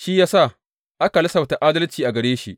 Shi ya sa, aka lissafta adalci a gare shi.